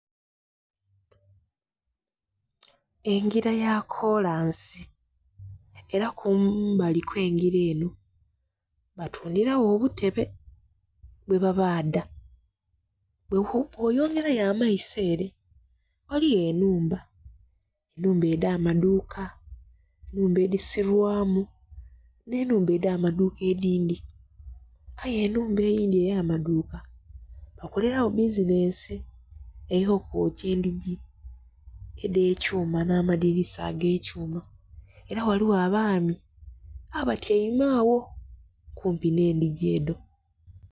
Engira ya kolonsi era kumbali okw'engira eno batundhira gho obutebe bwebabaadha bwoyongera yo amaiso ere ghaliyo enhumba, enhumba edh'amadhuuka, enhumba edhisulwamu n'enhumba edh'amadhuuka edhindhi aye enhumba eyindhi ey'amadhuuka bakalera gho bbizinensi eyo kwokya endhingi edhe kyuma n'amadhinisa agekyuma era ghaligho abaami abatyaime agho kumpi n'endhingi edho.